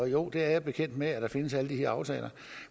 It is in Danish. jo jeg er bekendt med at der findes alle de her aftaler